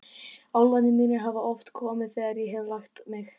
Álfarnir mínir hafa oft komið þegar ég hef lagt mig.